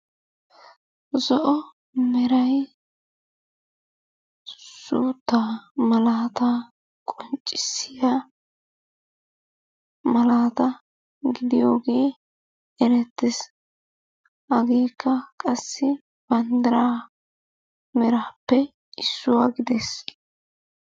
Zo'o merayi suttaa malattaa qoncisiyaa malata gidiyogee erettesi, hagekke qassi bandiraa merappe issuwa giddess.